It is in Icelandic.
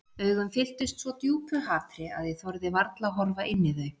Augun fylltust svo djúpu hatri að ég þorði varla að horfa inn í þau.